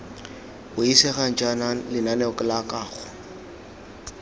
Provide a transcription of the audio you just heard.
buisegang jaana lenaneo la kago